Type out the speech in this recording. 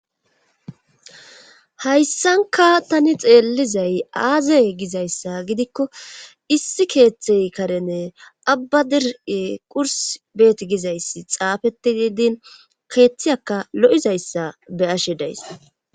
Hayssankka tani xeellizay aazay gizayssa gidikko issi keeththey karene abba diri qurs beet gizayssi xaafeti diidin keeththiyaka lo'izayssa be'ashshe days